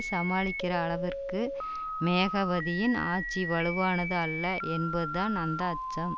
சமாளிக்கிற அளவிற்கு மேகவதியின் ஆட்சி வலுவானது அல்ல என்பதுதான் அந்த அச்சம்